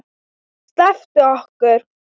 SLEPPTU OKKUR!